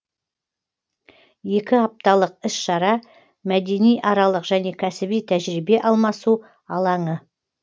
екі апталық іс шара мәдениаралық және кәсіби тәжірибе алмасу алаңы